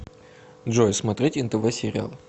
джой смотреть нтв сериал